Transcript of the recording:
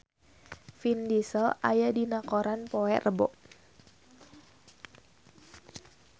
Vin Diesel aya dina koran poe Rebo